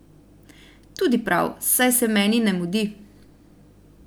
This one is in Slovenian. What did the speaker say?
Tudi prav, saj se meni ne mudi.